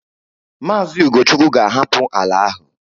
Maazị Ugochukwu ga-ahapụ ala ahụ